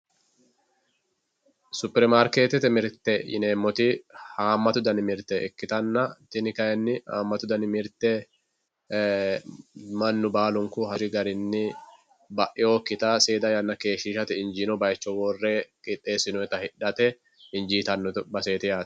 Superimaarketete mirte yineemmoti hamatu danni mirte ikkittanna tini kayinni hamatu danni mirte e"ee mannu baallunku hasiri garinni bainokkitta seeda yanna keeshshishate injittanokki base hoo'le injesine wodhate qixeessinonni baseti yaate.